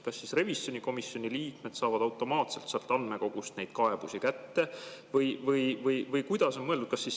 Kas siis revisjonikomisjoni liikmed saavad automaatselt sealt andmekogust neid kaebusi kätte või kuidas on mõeldud?